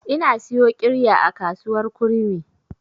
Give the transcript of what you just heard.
Ina siyo ƙirya a kasuwar kurmi.